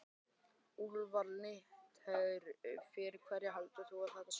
Úlfar Linnet: Fyrir hverja heldurðu að þetta sé?